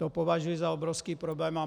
To považuji za obrovský problém.